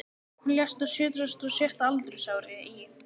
Hann lést á sjötugasta og sjötta aldursári í